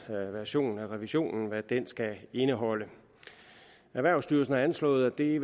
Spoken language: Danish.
version af revisionen skal indeholde erhvervsstyrelsen har anslået at det